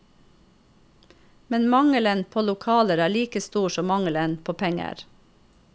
Men mangelen på lokaler er like stor som mangelen på penger.